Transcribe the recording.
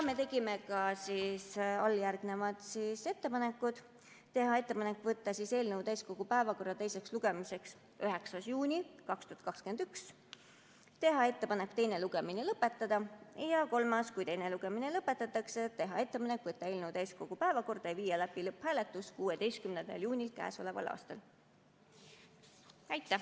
Me tegime ka järgnevad ettepanekud: teha ettepanek võtta eelnõu täiskogu päevakorda teiseks lugemiseks 9. juunil 2021, teha ettepanek teine lugemine lõpetada, ja kui teine lugemine lõpetatakse, teha ettepanek võtta eelnõu täiskogu päevakorda ja viia läbi lõpphääletus 16. juunil k.a. Aitäh!